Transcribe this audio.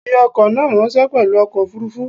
Fi ọkọ̀ náà ráńṣẹ́ pelu ọkọ̀ òfuurufú.